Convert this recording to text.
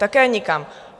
Také nikam.